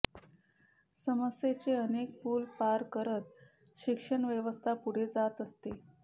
समस्येचे अनेक पुल पार करत शिक्षण व्यवस्था पूढे जात असते